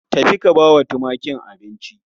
Tafi ka bawa tumakin abinci